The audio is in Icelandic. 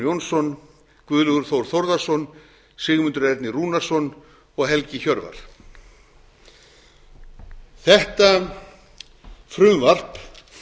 jónsson guðlaugur þór þórðarson sigmundur ernir rúnarsson og helgi hjörvar þetta frumvarp